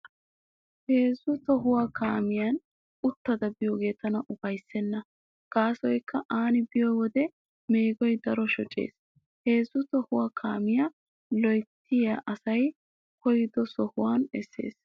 Heezzu tohuwaawa kaamiyan uttada biyoogee tana ufayssenna gaasoykka aani biyo wode meegoy daro shocees. Heezzu tohuwaawa kaamiyaa lo'otettay asay koyyido sohuwaan essees.